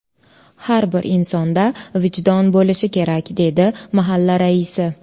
Har bir insonda vijdon bo‘lishi kerak”, deydi mahalla raisi.